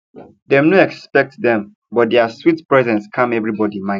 dem no expect dem but dia sweet presence calm everybody mind